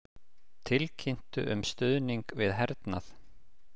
Tilkynntu um stuðning við hernað